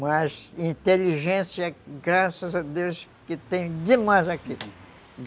Mas, inteligência, graças a Deus, que tem demais aqui